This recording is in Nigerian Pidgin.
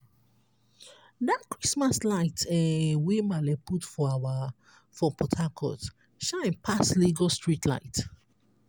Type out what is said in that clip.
dat christmas light um wey maale put for our for port harcourt shine pass lasg streetlight.